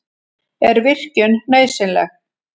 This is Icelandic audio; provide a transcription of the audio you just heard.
Er virkjun nauðsynleg?